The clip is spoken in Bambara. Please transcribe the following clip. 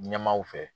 Ɲɛmaaw fɛ